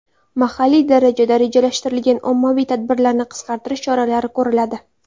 Mahalliy darajada rejalashtirilgan ommaviy tadbirlarni qisqartirish choralari ko‘riladi.